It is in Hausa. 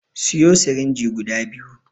Siyo sirinji guda biyu